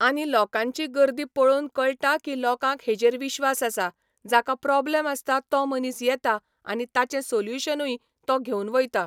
आनी लोकांची गर्दी पळोवन कळटा की लोकांक हेजेर विश्वास आसा जाका प्रोब्लम आसता तो मनीस येता आनी ताचें सोल्युशनूय तो घेवन वयता.